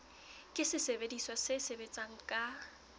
ke sesebediswa se sebetsang ka